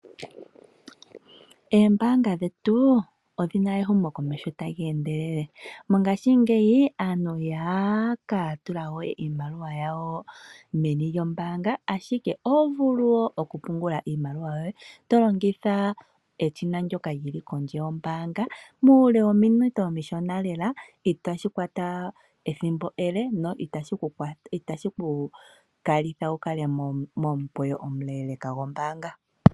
Ombaanga dhetu odhi na ehumokomeho tali endelele. Mongashingeyi ihaya ka tula we iimaliwa yawo meni lyoombaanga ashike oho vulu wo okupungula iimaliwa yoye to longitha eshina ndyoka lili kondje yombaanga muule wominute omishona lela, itashi kwata ethimbo ele na itashi ku kalitha wukale momukweyo omuleleka gwombaanga.